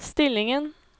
stillingen